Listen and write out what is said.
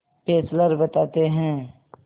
Fessler बताते हैं